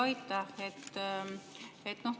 Aitäh!